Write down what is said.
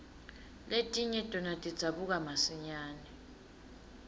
letinye tona tidzabuka masinyane